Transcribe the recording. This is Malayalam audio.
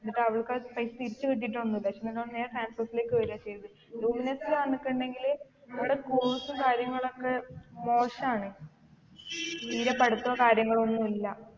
എന്നിട്ട് അവൾക്കത് പൈസ തിരിച്ച് കിട്ടിയിട്ടൊന്നുമില്ല പക്ഷെ ഞാൻ transorze ലേക്ക് വരാ ചെയ്തത് luminous ല് വന്നുക്കുണ്ടെങ്കില് അവിടെ course ഉം കാര്യങ്ങളൊക്കെ മോശാണ് തീരെ പഠിത്തൊ കാര്യങ്ങളോ ഒന്നുല്ല